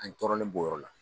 An tɔɔrɔlen b'o yɔrɔ de la